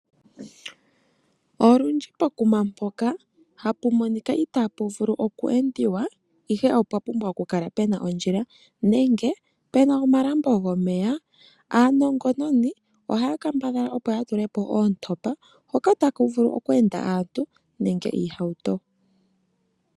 Olundji pokuma mpoka tapu monika itaa pu vulu oku endiwa ihe opwa pumbwa okukala puna ondjila nenge omalambo gomeya . Aanongononi ohaya kambadhala opo yatule po oontopa hoka taku vulu oku enda aantu nenge iihauto.